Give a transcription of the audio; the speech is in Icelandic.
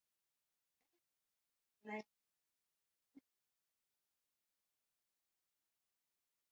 Agnes býður kók og súkkulaði og stendur upp til að ná í það.